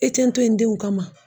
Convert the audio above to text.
E tɛ n to ye n denw kama?